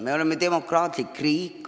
Me oleme demokraatlik riik.